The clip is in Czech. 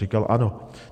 Říkal: Ano.